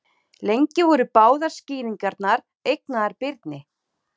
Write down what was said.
Lengi voru báðar skýringarnar eignaðar Birni.